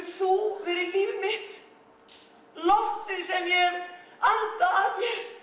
þú verið líf mitt loftið sem ég hef andað að